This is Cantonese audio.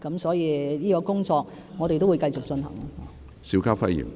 所以，這方面的工作，我們會繼續進行。